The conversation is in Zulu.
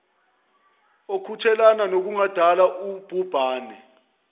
okuthelelana nokungadala ubhubhane